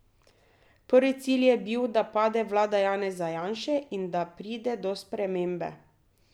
Prvi cilj je bil, da pade vlada Janeza Janše in da pride do spremembe.